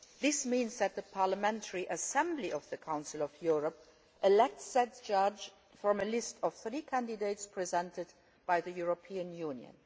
This means that the Parliamentary Assembly of the Council of Europe elects such a judge from a list of three candidates presented by the European Union.